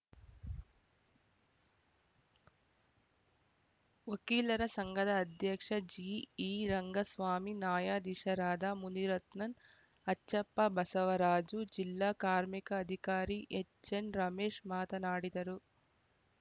ವಕೀಲರ ಸಂಘದ ಅಧ್ಯಕ್ಷ ಜಿಈರಂಗಸ್ವಾಮಿ ನ್ಯಾಯಾಧೀಶರಾದ ಮುನಿರತ್ನನ್ ಅಚ್ಚಪ್ಪ ಬಸವರಾಜು ಜಿಲ್ಲಾ ಕಾರ್ಮಿಕ ಅಧಿಕಾರಿ ಎಚ್‌ಎನ್‌ರಮೇಶ್‌ ಮಾತನಾಡಿದರು